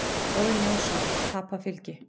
Óðinn Jónsson: Tapað fylgi.